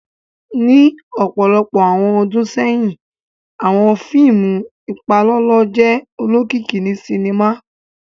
Ni ọpọlọpọ awọn ọ́dùn sẹyin, awọn fiimu ipalọlọ jẹ olokiki ni sinima.